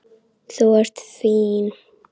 Þú ert fín.